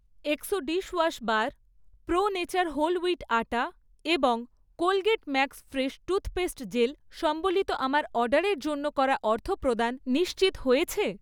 Exo dishwash bar, pro nature whole wheat atta এবং Colgate max fresh toothpaste gel সম্বলিত আমার অর্ডারের জন্য করা অর্থপ্রদান নিশ্চিত হয়েছে?